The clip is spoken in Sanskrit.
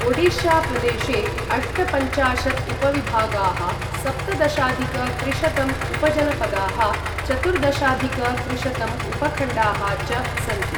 ओडिशा प्रदेशे अष्टपञ्चाशत् उपविभागाः, सप्तदशाधिक त्रिशतं उपजनपदाः, चतुर्दशाधिक त्रिशतं उपखण्डाः च सन्ति।